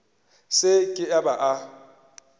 se ke a ba a